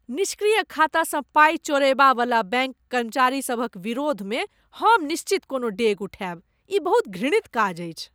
निष्क्रिय खातासँ पाई चोरयबा वला बैंक कर्मचारीसभक विरोधमे हम निश्चित कोनो डेग उठायब। ई बहुत घृणित काज अछि।